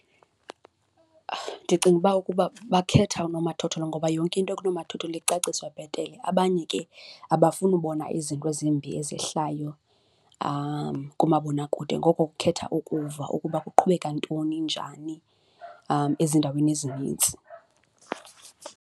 Ndicinga uba ukuba bakhetha unomathotholo ngoba yonke into kunomathotholo icaciswa bhetele, abanye ke abafuni ubona izinto ezimbi ezehlayo kumabonakude ngoko kukhetha ukuva ukuba kuqhubeka ntoni, njani ezindaweni ezinintsi.